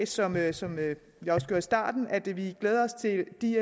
som jeg som jeg også gjorde i starten sige at vi glæder os til de